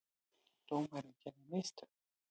Dómarinn gerði mistök.